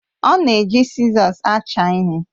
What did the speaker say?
Ọ na-eji sizọs acha ihe